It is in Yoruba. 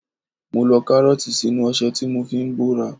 Mo lo Kárọ́ọ̀tì sínú ọṣẹ tí mo fi ń bóra.